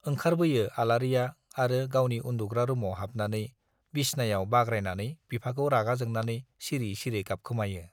ओंखारबोयो आलारिया आरो गावनि उन्दुग्रा रुमाव हाबनानै बिसनायाव बाग्रायनानै बिफाखौ रागा जोंनानै सिरि सिरि गाबखोमायो।